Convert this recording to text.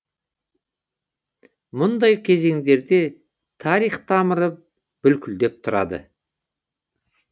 мұндай кезеңдерде тарих тамыры бүлкілдеп тұрады